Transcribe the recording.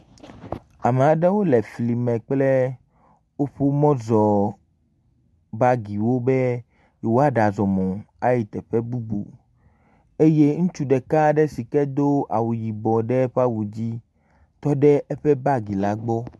Ame aɖewo le fli me woƒe mɔzɔbagiwobe yewoɖazɔ mɔ ayi teƒe bubu eye ŋutsu ɖeka aɖe si ke do awu yibɔ la tɔ ɖe eƒe bagi la gbɔ.